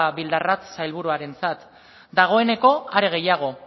bildarratz sailburuarentzat dagoeneko are gehiago